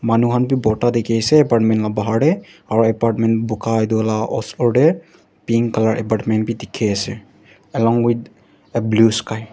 Manu khan bhi bhorta dekhe ase apartment la bahar dae aro apartment buka etu lah osor dae pink colour apartment bhi dekhe ase along with the blue sky .